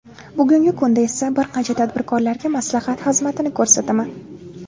Bugungi kunda esa bir qancha tadbirkorlarga maslahat xizmatini ko‘rsataman.